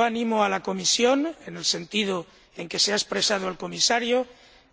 Animo a la Comisión, en el sentido en que se ha expresado el Comisario,